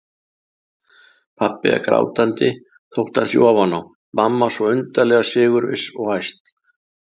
Pabbi er grátandi þótt hann sé ofan á, mamma svo undarlega sigurviss og æst.